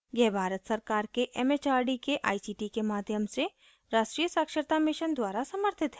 यह भारत सरकार के it it आर डी के आई सी टी के माध्यम से राष्ट्रीय साक्षरता mission द्वारा समर्थित है